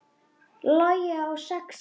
Logi á sex dætur.